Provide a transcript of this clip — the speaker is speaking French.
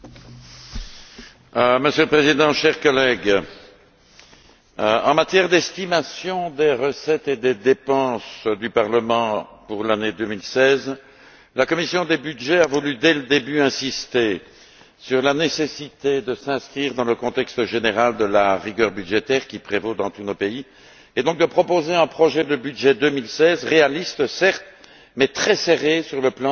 Monsieur le Président, chers collègues, en matière d'estimation des recettes et des dépenses du Parlement pour l'année 2016, la commission des budgets a voulu d'emblée insister sur la nécessité de s'inscrire dans le contexte général de la rigueur budgétaire qui prévaut dans tous nos pays et donc de proposer un projet de budget 2016 réaliste, certes, mais très serré sur le plan de l'augmentation des crédits.